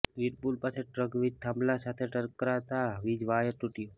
વીરપુર પાસે ટ્રક વીજ થાંભલા સાથે ટકરાતા વીજ વાયર તૂટયો